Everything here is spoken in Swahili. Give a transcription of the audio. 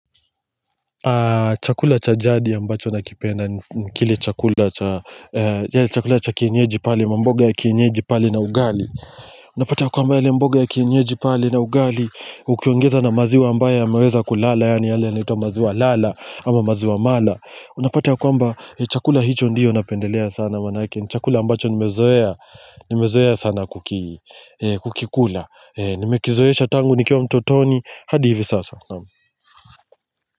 Chakula cha jadi ambacho nakipena, ni kile chakula cha kienyeji pale mamboga ya kienyeji pale na ugali Unapati ya kwamba yale mboga ya kienyeji pale na ugali, ukiongeza na maziwa ambayo yameweza kulala Yani yale yanaitwa maziwa lala, ama maziwa mala Unapati ya kwamba, chakula hicho ndio napendelea sana manake ni Chakula ambacho nimezoea, nimezoea sana kukila kukikula Nimekizoesha tangu nikiwa mtotoni, hadi hivi sasa.